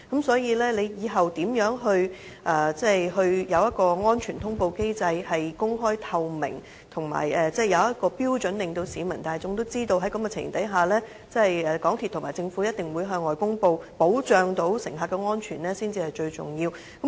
所以，政府未來所制訂的安全通報機制，必須公開透明及設定標準，可以令市民大眾知道在何種情形下，港鐵公司和政府一定會向外公布，保障乘客的安全，這才是最重要的。